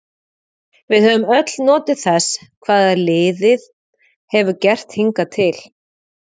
Við höfum öll notið þess hvað liðið hefur gert hingað til.